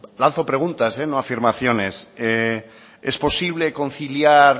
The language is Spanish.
lanzo preguntas no afirmaciones es posible conciliar